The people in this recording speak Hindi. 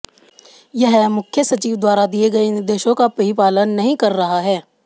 यह मुख्य सचिव द्वारा दिए गए निर्देशों का भी पालन नहीं कर रहा है